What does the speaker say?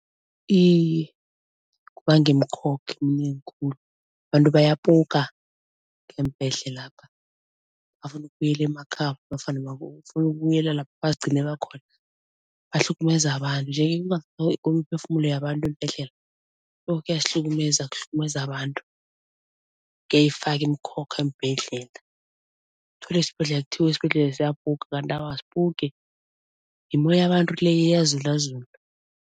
Iye kubanga imikhokha eminengi khulu. Abantu bayapoka ngeembhedlelapha, bafuna ukubuyela emakhabo nofana bafuna ukubuyela lapha bazigcine bakhona bahlukumeza abantu. Nje-ke imiphefumulo yabantu eembhedlela kuyasihlukumeza, kuhlukumeza abantu, kuyayifaka imikhokha eembhedlela. Uthole esibhedlela kuthiwe esibhedlela lesa kuyapoka kanti awa asipoki, yimoya yabantu le iyazulazula.